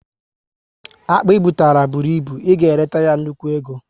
Akpụ i butara bụrụ ịbụ, ị ga eleta ya nnukwu ego